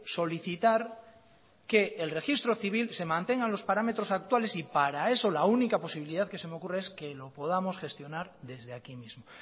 solicitar que el registro civil se mantengan los parámetros actuales y para eso la única posibilidad que se me ocurre es que lo podamos gestionar desde aquí mismo